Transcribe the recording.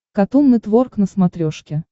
катун нетворк на смотрешке